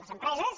les empre·ses